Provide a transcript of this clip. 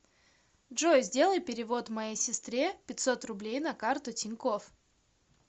джой сделай перевод моей сестре пятьсот рублей на карту тинькофф